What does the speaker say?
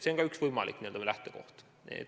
See on ka üks võimalik lähenemine.